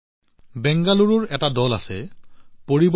বেংগালুৰুত এটা দল আছে ইউথ ফৰ পৰিৱৰ্তন